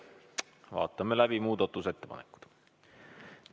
Vaatame läbi muudatusettepanekud.